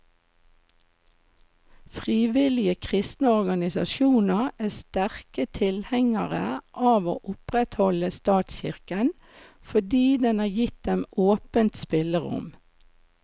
Frivillige kristne organisasjoner er sterke tilhengere av å opprettholde statskirken, fordi den har gitt dem åpent spillerom.